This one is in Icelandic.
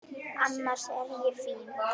Annars er ég fín.